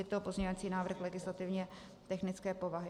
Je to pozměňovací návrh legislativně technické povahy.